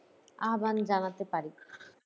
আহ্বান জানাতে পারি।